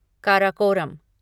Karakoram